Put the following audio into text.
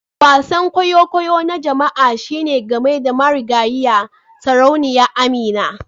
Wasan kwaikwayo na jama'a shine game da marigayiya Sarauniya Amina